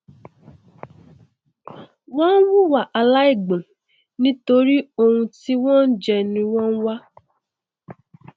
wọn nhùwà aláìgbọn nítorí oun tí wọn ó jẹ ni wọn nwá